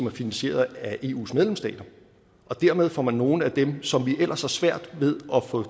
er finansieret af eus medlemsstater dermed får man nogle af dem som vi ellers har svært ved at få